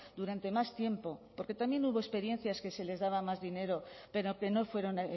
durante más tiempo porque también hubo experiencias que se les daba más dinero pero que no fueron